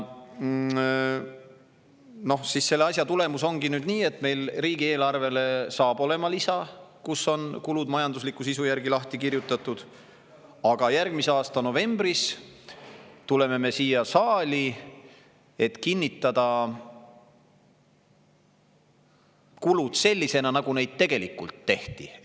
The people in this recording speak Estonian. Kogu selle asja tulemusena ongi nüüd nii, et riigieelarvel hakkab olema lisa, kus on kulud majandusliku sisu järgi lahti kirjutatud, aga järgmise aasta novembris tuleme me siia saali, et kinnitada kulud sellisena, nagu neid tegelikult tehti.